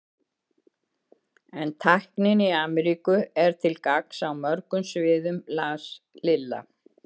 En tæknin í Ameríku er til gagns á mörgum sviðum las Lilla.